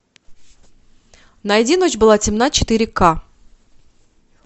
найди ночь была темна четыре ка